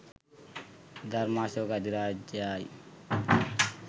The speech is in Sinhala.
ධර්මාශෝක අධිරාජයායි.